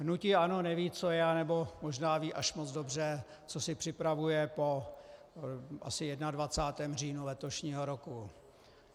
Hnutí ANO neví, co je, anebo možná ví až moc dobře, co si připravuje po asi 21. říjnu letošního roku.